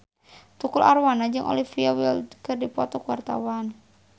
Tukul Arwana jeung Olivia Wilde keur dipoto ku wartawan